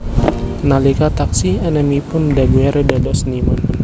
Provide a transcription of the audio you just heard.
Nalika taksih enèmipun Daguerre dados seniman